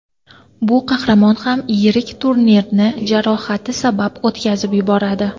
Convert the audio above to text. Bu qahramon ham yirik turnirni jarohati sabab o‘tkazib yuboradi.